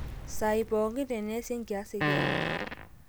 saai pooki teneesi enkias ekiama